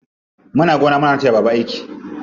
Muna gona muna taya baba aiki.